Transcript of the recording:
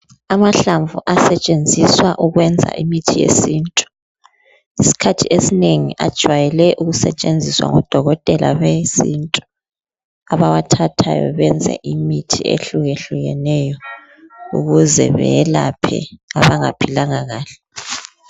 amahlamvu asetshenziswa ukwenza imithi yesintu isikhathi esinengi ajwayele ukusetshenziswa ngodokotela besintu abawathathayo benze imithi ehlukehlukeneyo ukuze beyelaphe abanga philanga kahle